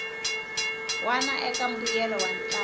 wana eka mbuyelo wa ntlangu